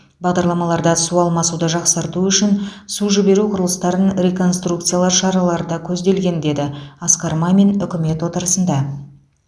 бағдарламаларда су алмасуды жақсарту үшін су жіберу құрылыстарын реконструкциялау шаралары да көзделген деді асқар мамин үкімет отырысында